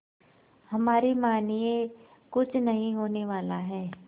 हमारी मानिए कुछ नहीं होने वाला है